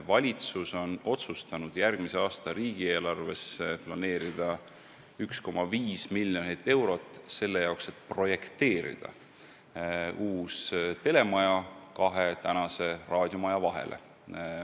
Valitsus on otsustanud järgmise aasta riigieelarvest planeerida 1,5 miljonit eurot selle jaoks, et projekteerida uus telemaja kahe praeguse raadiomaja vahele.